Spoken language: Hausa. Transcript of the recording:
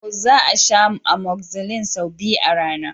To! Za a sha amoxicillin sau biyu a rana.